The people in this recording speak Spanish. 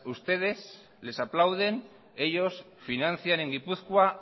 ustedes les aplaudenellos financian en gipuzkoa